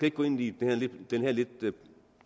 ikke gå ind i den her